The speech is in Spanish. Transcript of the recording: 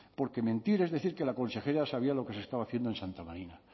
porque mentir es decir que la consejera sabía lo que se estaba haciendo en santa marina